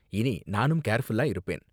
இனி நானும் கேர்ஃபுல்லா இருப்பேன்.